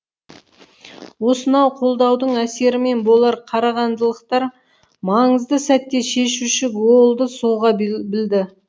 осынау қолдаудың әсерімен болар қарағандылықтар маңызды сәтте шешуші голды соға білді